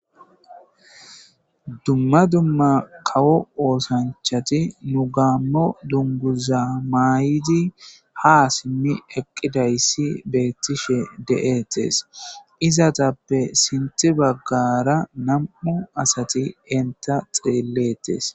dumma dumma kawo oosanchati nu gaammo dunguza maayidi ha simmi eqqidayssi beettishe de'ettes izatappe sinthi baggara nam'u asati enta xeellettes